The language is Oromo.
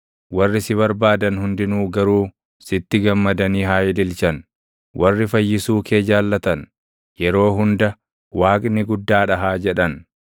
Warri si barbaadan hundinuu garuu sitti gammadanii haa ililchan; warri fayyisuu kee jaallatan, yeroo hunda, “Waaqni guddaa dha!” haa jedhan.